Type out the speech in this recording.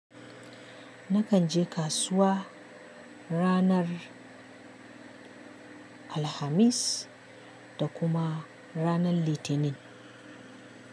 Nakan je kasuwa ranar Alhamis da kuma ranar Litinin.